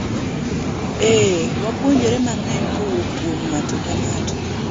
eeh, wapuonjore mang'eny kowuok kuom ng'ato ka ng'ato